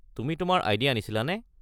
তুমি তোমাৰ আই.ডি. আনিছিলানে?